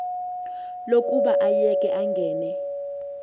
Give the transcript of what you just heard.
lokuba ayeke angene